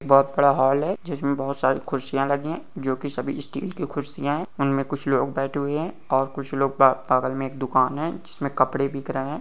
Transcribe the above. ‍‌‌ बहुत बड़ा हॉल है जिसमे बहुत सारे कुर्सियां लगी है जो की सभी स्टील के कुर्सियां हे उन्मे कुछ लोग बैठे हुए हैऔर कुछ लोग बा-- बगल मे एक दुकान हैजिसमे कपडे बिक रहे है |